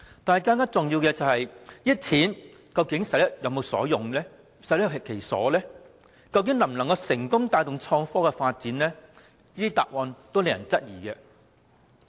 不過，更重要的問題是，這些錢是否用得其所及能否成功帶動創科發展，但在在都令人質疑。